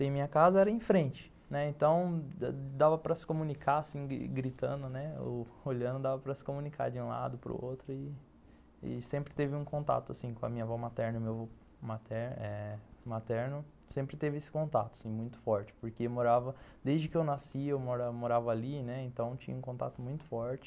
em minha casa era em frente, né, então dava para se comunicar assim, gritando ou olhando, dava para se comunicar de um lado para o outro e sempre teve um contato assim com a minha avó materna e meu avô materno, sempre teve esse contato muito forte, porque morava, desde que eu nasci eu morava ali, né, então tinha um contato muito forte.